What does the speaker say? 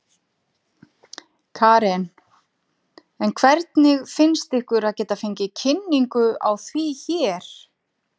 Karen: En hvernig finnst ykkur að geta fengið kynningu á því hér?